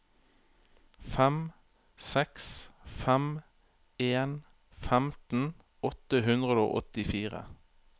fem seks fem en femten åtte hundre og åttifire